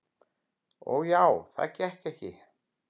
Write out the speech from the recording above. Og já, það gekk ekki.